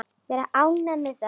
Vera ánægð með það.